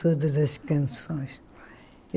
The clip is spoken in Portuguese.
Todas as canções.